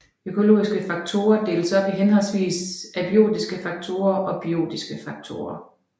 Økologiske faktorer deles op i henholdsvis abiotiske faktorer og biotiske faktorer